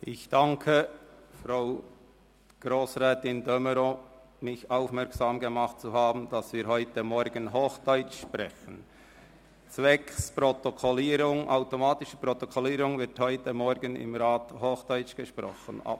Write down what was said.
Ich danke Grossrätin de Meuron, mich darauf aufmerksam gemacht zu haben, dass im Grossen Rat zwecks automatischer Protokollierung heute Morgen hochdeutsch gesprochen wird.